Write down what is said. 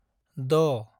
द